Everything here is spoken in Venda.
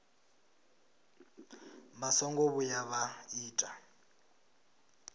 vha songo vhuya vha ita